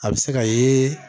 A bɛ se ka yeee